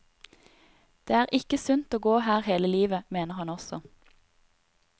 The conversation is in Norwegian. Det er ikke sunt å gå her hele livet, mener hun også.